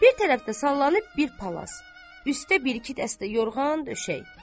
Bir tərəfdə sallanıb bir palas, üstdə bir-iki dəstə yorğan, döşək.